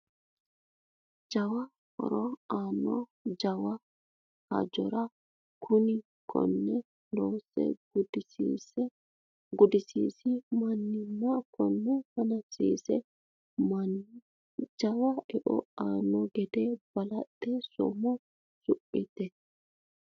Jawa horo aano jawa hijaarati kuni kone loosse gudisiisi mannina kone hanafisiisi manni jawa eo aano gede balaxe somo someti